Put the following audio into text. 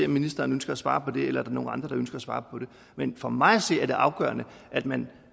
ministeren ønsker at svare på det eller er nogle andre der ønsker at svare på det men for mig at se er det afgørende at man